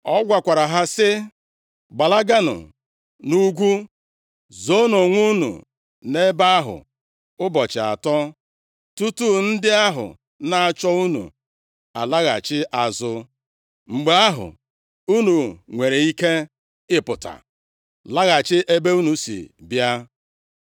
Ọ gwakwara ha sị, “Gbalaganụ nʼugwu, zoonụ onwe unu nʼebe ahụ ụbọchị atọ, tutu ndị ahụ na-achọ unu alaghachi azụ. Mgbe ahụ, unu nwere ike ịpụta laghachi ebe unu si bịa.”